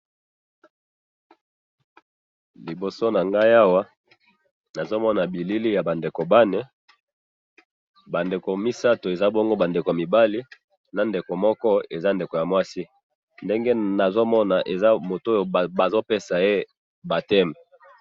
liboso nanga awa nazo moni bilili ya bandeko bane bandeko misatu eza bongo bandeko mibali na ndeko moko eza ndeko ya mwasi ndenge na zo mona eza motoyo bazo besaye bapteme